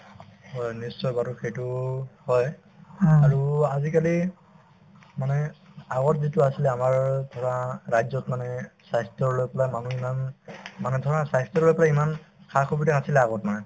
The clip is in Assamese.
হয়, নিশ্চয় বাৰু সেইটো হয় আৰু আজিকালি মানে আগত যিটো আছিলে আমাৰ ধৰা ৰাজ্যত মানে স্বাস্থ্যৰ লৈ পেলাই মানুহ ইমান মানে ধৰা স্বাস্থ্যলৈ পেলাই ধৰা ইমান সা-সুবিধা নাছিলে আগত মানে